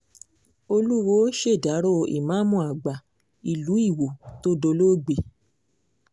olùwọ́ọ́ ṣèdàrọ́ ìmáàmù àgbà ìlú iwọ tó dolóògbé